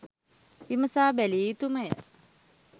විමසා බැලිය යුතුමය.